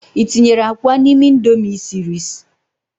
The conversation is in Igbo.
i tinyere akwa n'ime Indomie i siri s?